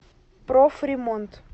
профремонт